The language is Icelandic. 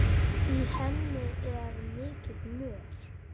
Í henni er mikill mör.